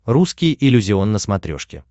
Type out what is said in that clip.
русский иллюзион на смотрешке